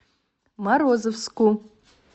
морозовску